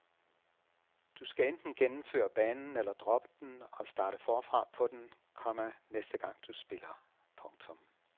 Du skal enten gennemføre banen eller droppe den og starte forfra på den, komma næste gang du spiller. punktum